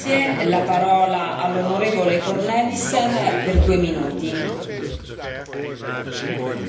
Voorzitter, vrij verkeer van Europese burgers is een basiswaarde in de Europese Unie.